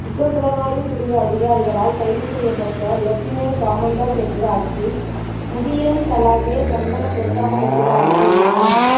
குற்றப் புலனாய்வு பிரிவு அதிகாரிகளால் கைது செய்யப்பட்ட லெப்டினென் கமாண்டர் ஹெட்டியாராச்சி முதியன்சலாகே சந்தன பிரசாத் ஹெட்டியாராச்சி எனும்